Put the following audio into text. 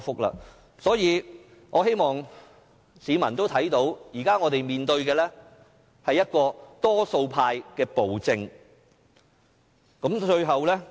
因此，我希望市民明白，現在我們面對的是多數派的暴政。